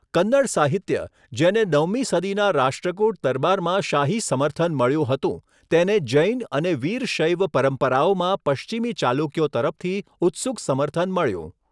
કન્નડ સાહિત્ય, જેને નવમી સદીના રાષ્ટ્રકુટ દરબારમાં શાહી સમર્થન મળ્યું હતું, તેને જૈન અને વીરશૈવ પરંપરાઓમાં પશ્ચિમી ચાલુક્યો તરફથી ઉત્સુક સમર્થન મળ્યું.